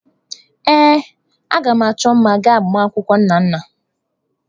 Ee, a ga m achọ mma ga agbamakwụkwọ Nnanna.